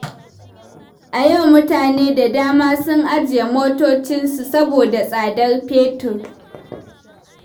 A yau, mutane da dama sun ajiye motocinsu saboda tsadar fetur.